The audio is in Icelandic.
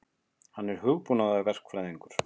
Hann er hugbúnaðarverkfræðingur.